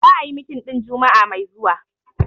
The meeting will be holding next week Friday.